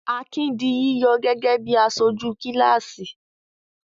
Akin di yíyọ gẹ́gẹ́ bí aṣojú kíláàsì?